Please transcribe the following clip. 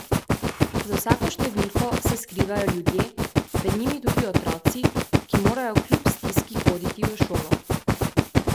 Za vsako številko se skrivajo ljudje, med njimi tudi otroci, ki morajo kljub stiski hoditi v šolo.